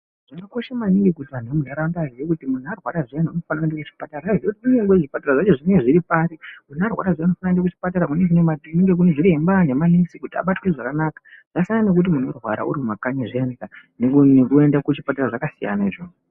Zvakakosha maningi kuti muntu arwara zviyani anofanirwa kuenda kuchipatara kunyange kuti zvipatara zvacho zviripari muntu arwara zviyani anofanirwa kuenda kuzvibhedhlera kunenge kune vana zviremba nemanesi kuti abatwe zvakanaka zvasiyana nekuti muntu anorwara ari mumakanyi zviyani zvasiyana izvozvo.